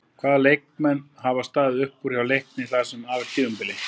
Hvaða leikmenn hafa staðið uppúr hjá Leikni það sem af er tímabili?